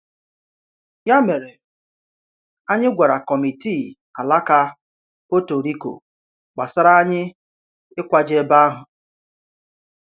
Ya mèrè, anyị gwàrà Kọmitii Alaka Puerto Rico gbásárá anyị ịkwàje ebe a.